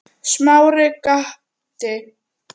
Smári gapti.